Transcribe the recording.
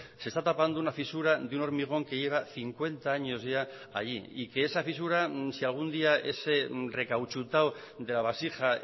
se está tapando una fisura de un hormigón que lleva cincuenta años ya allí y que esa fisura si algún día ese recauchutado de la vasija